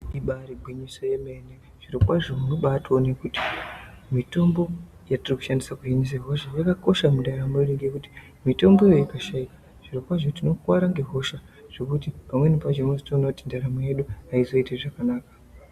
Ibari gwinyiso yemene zvirokwazvo unobatoone kuti mitombo yetiri kushandisirwa kuhina hosha yakakosha mundaramo yedu ngekuti mitomboyo yakashaikwa zvirokwazvo tinokwara ngehosha zvekuti pamweni pacho unozotoona kuti ndaramo yedu ayizoiti zvakanaka.